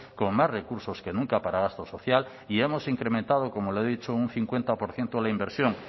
con más recursos que nunca para gasto social y hemos incrementado como lo he dicho un cincuenta por ciento la inversión